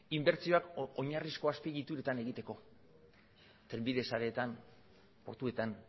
inbertsioak oinarrizko azpiegituretan egiteko trenbide sareetan portuetan